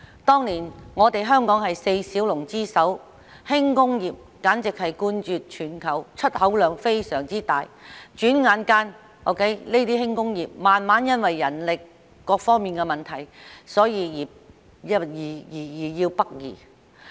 當年，香港是四小龍之首，輕工業簡直冠絕全球，出口量非常大，轉眼間，這些輕工業因為人力等各方面的問題逐漸北移。